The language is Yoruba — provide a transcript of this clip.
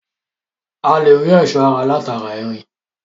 A lè rí ẹ̀sọ́ ara láti ara irin